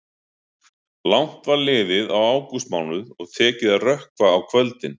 Langt var liðið á ágústmánuð og tekið að rökkva á kvöldin.